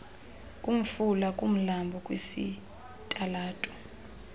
kumfula kumlambo kwisitalato